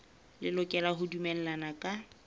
le lokela ho dumellana ka